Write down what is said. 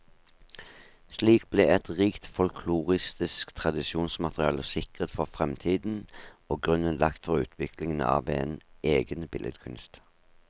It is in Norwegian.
Slik ble et rikt folkloristisk tradisjonsmateriale sikret for fremtiden, og grunnen lagt for utviklingen av en egen billedkunst.